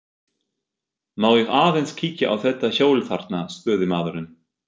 Má ég aðeins kíkja á þetta hjól þarna, spurði maðurinn.